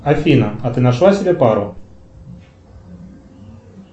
афина а ты нашла себе пару